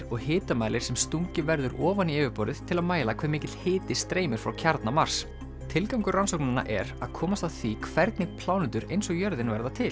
og hitamælir sem stungið verður ofan í yfirborðið til að mæla hve mikill hiti streymir frá kjarna Mars tilgangur rannsóknanna er að komast að því hvernig plánetur eins og jörðin verða til